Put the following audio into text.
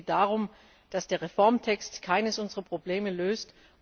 Es geht darum, dass der Reformtext keines unserer Probleme